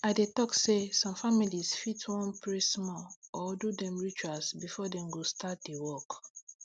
i dey talk say some families fit wan pray small or do dem rituals before dem go start di work